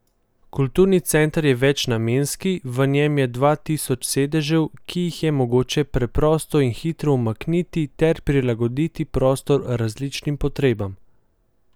Kulturni center je večnamenski, v njem je dva tisoč sedežev, ki jih je mogoče preprosto in hitro umakniti ter prilagoditi prostor različnim potrebam.